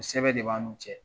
Sɛbɛn de b'a n'u cɛ.